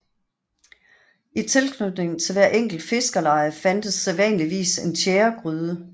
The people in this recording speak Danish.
I tilknytning til hvert enkelt fiskerleje fandtes sædvanligvis en tjæregryde